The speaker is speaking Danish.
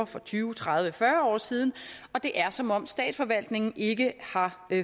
for tyve tredive fyrre år siden og det er som om statsforvaltningen ikke har